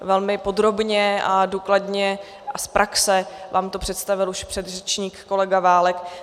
Velmi podrobně a důkladně a z praxe vám to představil už předřečník kolega Válek.